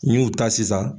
N y'u ta sisan